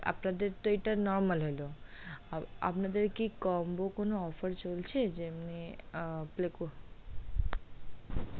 আপনাদের এটা তো normal হলো আপনাদের কি combo কোনো offer চলছে যেমনি,